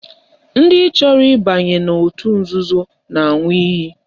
Ndị chọrọ ịbanye n'otu nzuzo na-aṅụ iyi